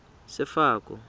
sefako